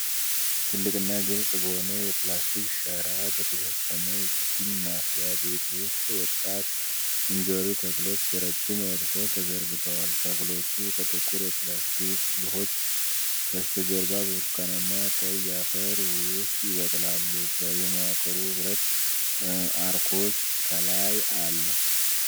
ትልቅና ግልጽ በሆነ የፕላስቲክ ሸራ በተሸፈነ የችግኝ ማፍያ ቤት ውስጥ ወጣት እንጆሪ ተክሎች በረዥም ረድፎች ተዘርግተዋል። ተክሎቹ ከጥቁር የፕላስቲክ ሉሆች በስተጀርባ በብርቱካናማ-ቀይ አፈር ውስጥ ይበቅላሉ። የመዋቅሩ ብረት አርኮች ከላይ አሉ።